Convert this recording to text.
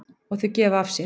Og þau gefa af sér.